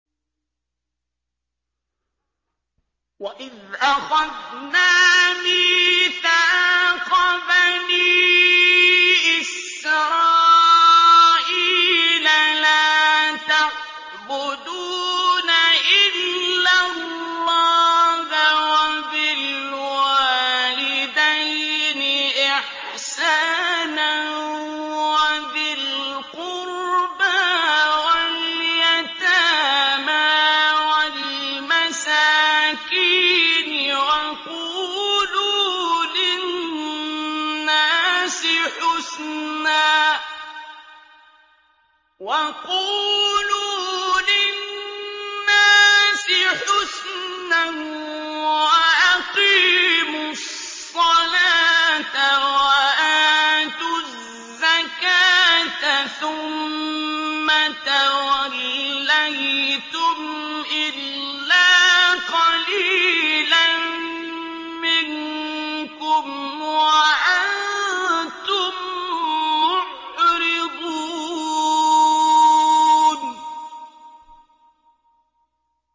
وَإِذْ أَخَذْنَا مِيثَاقَ بَنِي إِسْرَائِيلَ لَا تَعْبُدُونَ إِلَّا اللَّهَ وَبِالْوَالِدَيْنِ إِحْسَانًا وَذِي الْقُرْبَىٰ وَالْيَتَامَىٰ وَالْمَسَاكِينِ وَقُولُوا لِلنَّاسِ حُسْنًا وَأَقِيمُوا الصَّلَاةَ وَآتُوا الزَّكَاةَ ثُمَّ تَوَلَّيْتُمْ إِلَّا قَلِيلًا مِّنكُمْ وَأَنتُم مُّعْرِضُونَ